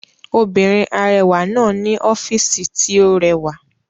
Obìnrin arẹwà náà ní ọ́fìsì tí ó rẹwà